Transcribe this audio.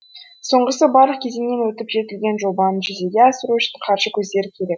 соңғысы барлық кезеңнен өтіп жетілген жобаны жүзеге асыру үшін қаржы көздері керек